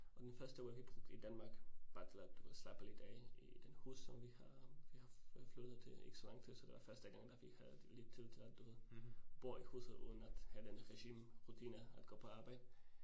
Og den første uge vi brugte i Danmark bare du ved slappe lidt af i i den hovedstad vi har vi har flyttet til ikke så lang tid, så det var første gang, da vi havde lidt tid til at du ved bo i hovedstad uden at have den rigide rutine at gå på arbejde